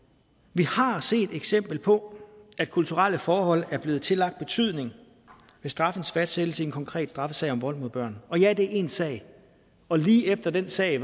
vi har set et eksempel på at kulturelle forhold er blevet tillagt betydning ved straffens fastsættelse i en konkret straffesag om vold mod børn ja det er én sag og lige efter den sag